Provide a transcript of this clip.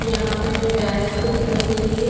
यहाँ पे डेस्क दिखाई दे रही हैं।